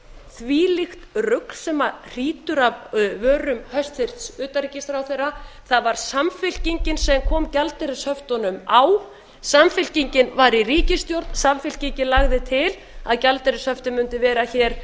þvílíkt rugl sem hrýtur af vörum hæstvirts utanríkisráðherra það var samfylkingin sem kom gjaldeyrishöftunum á samfylkingin var í ríkisstjórn samfylkingin lagði til að gjaldeyrishöftin mundu vera hér